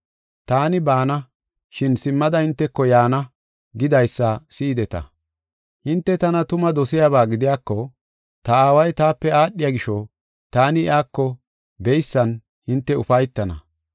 ‘Taani baana, shin simmada hinteko yaana’ gidaysa si7ideta. Hinte tana tuma dosiyaba gidiyako ta Aaway taape aadhiya gisho taani iyako beysan hinte ufaytana.